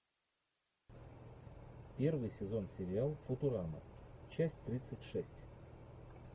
первый сезон сериал футурама часть тридцать шесть